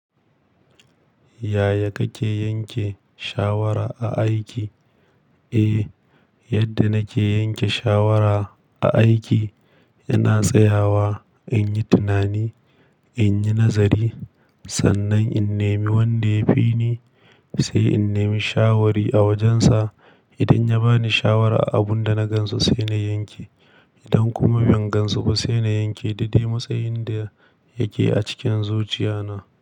Yaya kake yanke shawara a aiki? Eh, yadda nake yanke shawara a aiki ina tsayawa in yi tunani, in yi nazari. Sannan in nemi wanda ya fi ni, sai in nemi shawari a wajensa idan ya ba ni shawara a abun da na gan su sai na yanke. Idan kuma ban gan su ba sai na yanke dade ma tsayin da yake a cikin zuciya na.